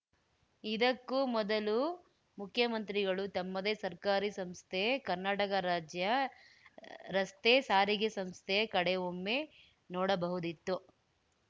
ಇದಕ್ಕೂ ಮೊದಲು ಮುಖ್ಯಮಂತ್ರಿಗಳು ತಮ್ಮದೇ ಸರ್ಕಾರಿ ಸಂಸ್ಥೆ ಕರ್ನಾಡಕರಾಜ್ಯರಸ್ತೆಸಾರಿಗೆಸಂಸ್ತೆ ಕಡೆ ಒಮ್ಮೆ ನೋಡಬಹುದಿತ್ತು